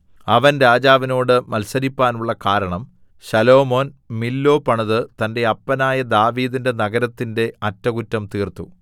അവൻ രാജാവിനോട് മത്സരിപ്പാനുള്ള കാരണം ശലോമോൻ മില്ലോ പണിത് തന്റെ അപ്പനായ ദാവീദിന്റെ നഗരത്തിന്റെ അറ്റകുറ്റം തീർത്തു